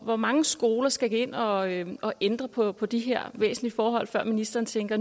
hvor mange skoler skal hen og ændre ændre på på de her væsentlige forhold før ministeren tænker